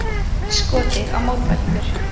Skotið á mótmælendur